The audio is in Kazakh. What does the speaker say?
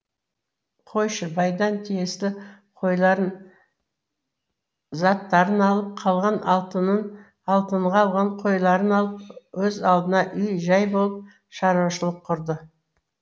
қойшы байдан тиісті қойларын заттарын алып қалған алтынын алтынға алған қойларын алып өз алдына үй жай болыл шаруашылық құрады